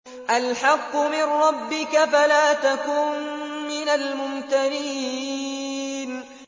الْحَقُّ مِن رَّبِّكَ فَلَا تَكُن مِّنَ الْمُمْتَرِينَ